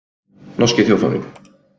Norski þjóðfáninn.